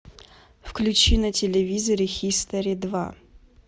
включи на телевизоре хистори два